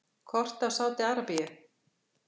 Kort af Sádi-Arabíu.